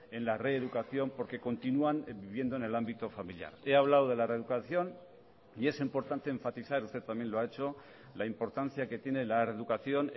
en la reeducación porque continúan viviendo en el ámbito familiar he hablado de la reeducación y es importante enfatizar usted también lo ha hecho la importancia que tiene la reeducación